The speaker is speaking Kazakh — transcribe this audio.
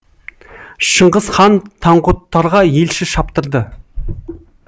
шыңғыс хан таңғұттарға елші шаптырды